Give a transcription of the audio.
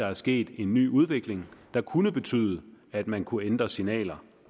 er sket en ny udvikling der kunne betyde at man kunne ændre signaler